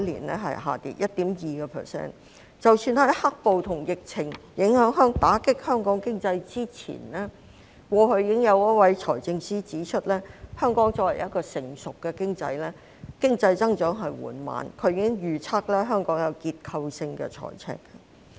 即使香港在受到"黑暴"和疫情打擊經濟之前，過去已經有一位財政司司長指出，香港作為一個成熟的經濟體，經濟增長緩慢，他已經預測香港會出現結構性財赤。